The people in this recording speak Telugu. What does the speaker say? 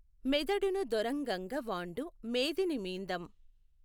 మెదడును దొరఁగంగ వాఁడు మేదినిమీఁదం